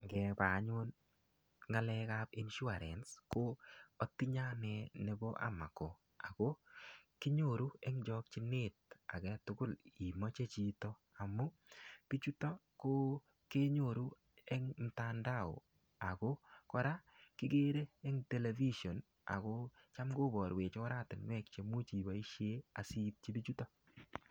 Ngebe anyun ngalekab insurance ko otinye anee nebo amako Ako kinyoru en chokinet agetutuk imoche chito amun bichuton ko kenyoru en mtandao ako koraa kikere en television ako cham koborwech oratunwek cheimuch iboishen asiityi bichuton.